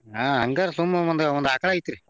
ಆ ಹಂಗಾರೆ ಸುಮ್ಮ ಒಂದ್ ಒಂದ್ ಆಕಳ್ ಐತ್ರಿ.